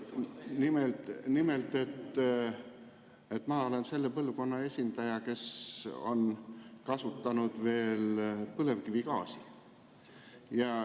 Nimelt olen ma selle põlvkonna esindaja, kes on kasutanud veel põlevkivigaasi.